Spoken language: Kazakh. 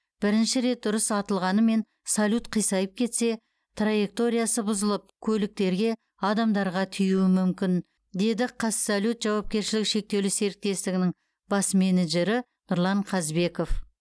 бірінші рет дұрыс атылғанымен салют қисайып кетсе траекториясы бұзылып көліктерге адамдарға тиюі мүмкін деді қазсалют жауапкершілігі шектеулі серіктестігінің бас менеджері нұрлан қазбеков